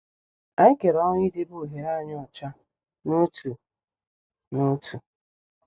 Anyị kere ọrụ idebe ohere anyị ọcha n'otu n'otu.